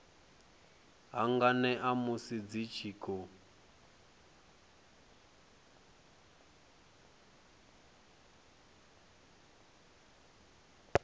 hanganea musi dzi tshi khou